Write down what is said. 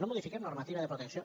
no modifiquem normativa de protecció